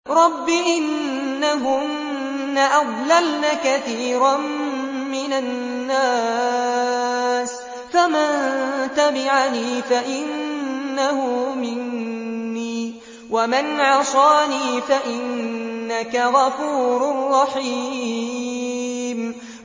رَبِّ إِنَّهُنَّ أَضْلَلْنَ كَثِيرًا مِّنَ النَّاسِ ۖ فَمَن تَبِعَنِي فَإِنَّهُ مِنِّي ۖ وَمَنْ عَصَانِي فَإِنَّكَ غَفُورٌ رَّحِيمٌ